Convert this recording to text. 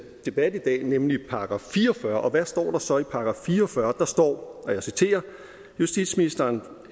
debat i dag nemlig § fire og fyrre og hvad står der så i § 44 der står justitsministeren